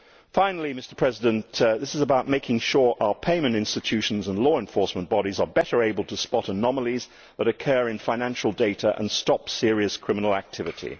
Finally, this is about making sure that our payment institutions and law enforcement bodies are better able to spot anomalies that occur in financial data and stop serious criminal activity.